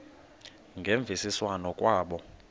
ngemvisiswano r kwabo